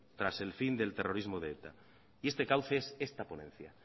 tras el fin del terrorismo de eta y este cauce es esta ponencia